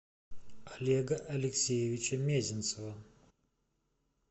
олега алексеевича мезенцева